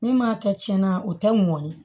Min m'a kɛ tiɲɛna o tɛ mɔnni ye